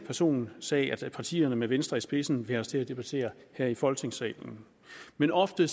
personsag som partierne med venstre i spidsen vil have os til at debattere her i folketingssalen men ofte